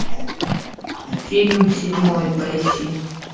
фильм седьмой поищи